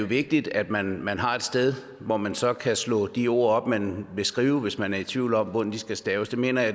vigtigt at man man har et sted hvor man så kan slå de ord op man vil skrive hvis man er i tvivl om hvordan de skal staves det mener jeg